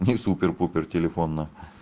где супер-пупер телефон на